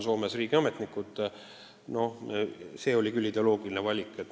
Meil tuli teha ideoloogiline valik.